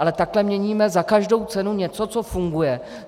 Ale takhle měníme za každou cenu něco, co funguje.